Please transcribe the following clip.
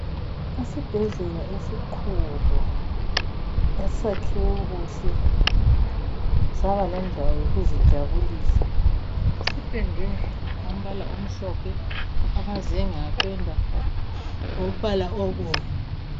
Esibhedlela esikhulu esakhiwe kuhle, saba lendawo yokuzijabulisa, sipendwe ngombala omhlophe, amazenge apendwa ngombala obomvu.